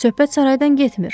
Söhbət saraydan getmir.